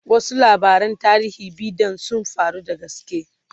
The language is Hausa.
wasu labaran tarihi be Dan sun faru da gaske